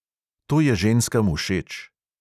To je ženskam všeč.